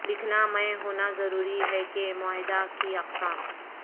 لکھنا میں ہونا ضروری ہے کہ معاہدہ کی اقسام